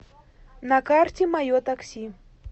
на карте мое такси